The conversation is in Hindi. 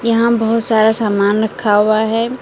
यहां बहोत सारा सामान रखा हुआ है।